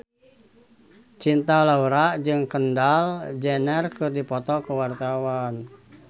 Cinta Laura jeung Kendall Jenner keur dipoto ku wartawan